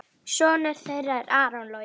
Sonur þeirra er Aron Logi.